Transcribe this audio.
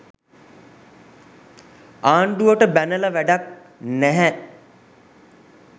ආණ්ඩුවට බැනල වැඩක් නැහැ